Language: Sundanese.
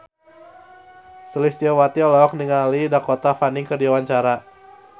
Sulistyowati olohok ningali Dakota Fanning keur diwawancara